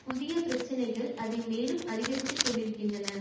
புதிய பிரச்சனைகள் அதை மேலும் அதிகரித்து கொண்டிருக்கின்றன